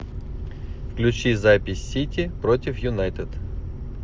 включи запись сити против юнайтед